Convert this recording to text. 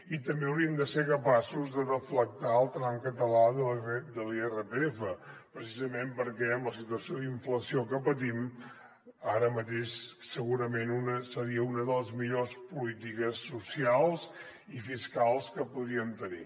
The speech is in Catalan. i també hauríem de ser capaços de deflactar el tram català de l’irpf precisament perquè amb la situació d’inflació que patim ara mateix segurament seria una de les millors polítiques socials i fiscals que podríem tenir